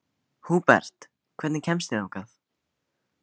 Húbert, hvernig kemst ég þangað?